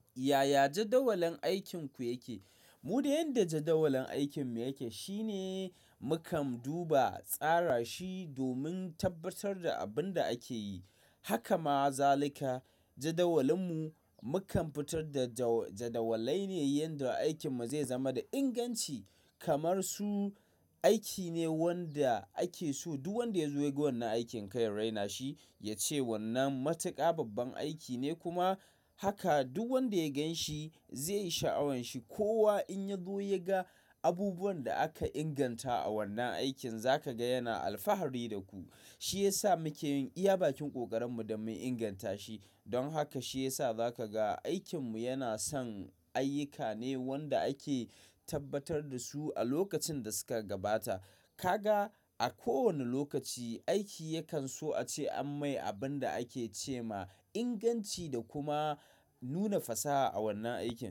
Yaya jadawalin aikinku yake? Mu da yadda jadawalin aikin mu yake shine mu kam duba tsara shi domin tabbatar da abin da ake yi. Haka ma zalika jadawalin mu, mu kam fitar da jadawalai ne yanda aikin mu zai zama da inganci kamar su aiki ne wanda ake so duk wanda ya zo ya ga wannan aikin kar yaraina shi ya ce wannan matuƙa babban aiki ne kuma haka duk wanda ya gan shi zai sha'awan shi. Kowa in ya zo ya ga abubuwan da aka inganta a wannan aikin za ka ga yana alfahari da ku. Shi ya sa muke yin iya bakin ƙoƙarin mu don mun inganta shi. Don haka shi ya sa za ka ga aikin mu yana son ayyuka ne wanda ake tabbatar da su a lokacin da suka gabata. Ka ga a kowane lokaci aiki yakan so a ce an mai abin da ake ce ma inganci da kuma nuna fasaha a wannan aiki.